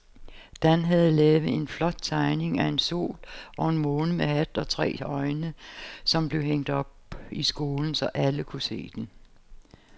Dan havde lavet en flot tegning af en sol og en måne med hat og tre øjne, som blev hængt op i skolen, så alle kunne se den.